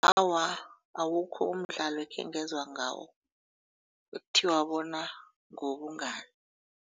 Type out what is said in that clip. Awa, awukho umdlalo ekhengezwa ngawo ekuthiwa bona ngewobungani.